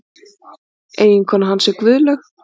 Eiginkona hans er Guðlaug